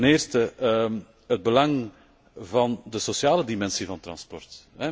Ten eerste het belang van de sociale dimensie van transport.